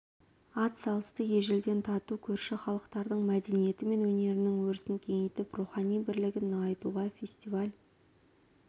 ат салысты ежелден тату көрші халықтардың мәдениеті мен өнерінің өрісін кеңейтіп рухани бірлігін нығайтуға фестиваль